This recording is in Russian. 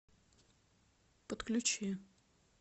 подключи